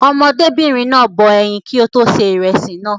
Ọmọdébìnrin náà bọ ẹyin kí ó tó ṣe ìrẹsì náà.